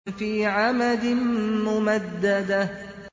فِي عَمَدٍ مُّمَدَّدَةٍ